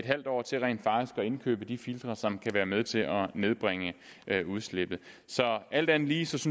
halv år til rent faktisk at indkøbe de filtre som kan være med til at nedbringe udslippet alt andet lige synes